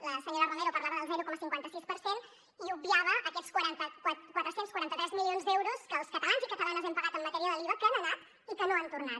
la senyora romero parlava del zero coma cinquanta sis per cent i obviava aquests quatre cents i quaranta tres milions d’euros que els catalans i catalanes hem pagat en matèria de l’iva que han anat i que no han tornat